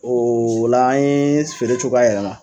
Ola an ye feere cogoya yɛlɛma.